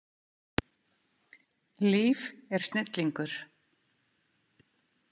Líf er snillingur.